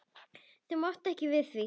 Þau máttu ekki við því.